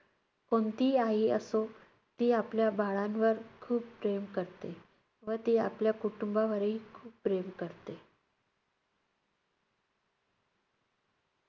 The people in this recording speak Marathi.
कोणतीही आई असो, ती आपल्या बाळांवर खूप प्रेम करते व ती आपल्या कुटुंबावरही खूप प्रेम करते.